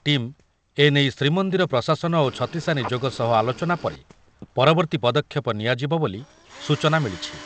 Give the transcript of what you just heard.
Team ଏ ନେଇ ଶ୍ରୀମନ୍ଦିର ପ୍ରଶାସନ ଓ ଛତିଶା ନିଯୋଗ ସହ ଆଲୋଚନା ପରେ ପରବର୍ତ୍ତୀ ପଦକ୍ଷେପ ନିଆଯିବ ବୋଲି ସୂଚନା ମିଳିଛି।